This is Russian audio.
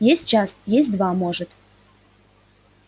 есть час есть два может